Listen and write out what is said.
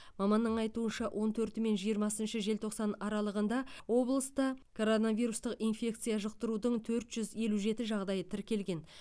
маманның айтуынша он төрті мен жиырмасыншы желтоқсан аралығында облыста коронавирустық инфекция жұқтырудың төрт жүз елу жеті жағдайы тіркелген